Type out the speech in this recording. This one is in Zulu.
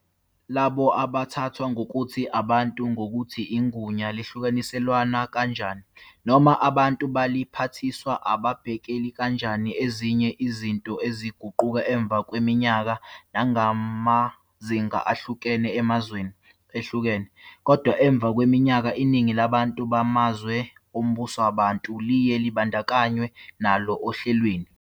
Labo abathathwa ngokuthi "abantu" nokuthi igunya lihlukaniselwana kanjani noma abantu baliphathiswa ababhekeli kanjani ezinye izinto ezaguquka emva kweminyaka nangamazinga ahlukene emazweni ehlukene, kodwa emva kweminyaka iningi labantu bamazwe ombusowabantu liye labandakanywa nalo ohlelweni.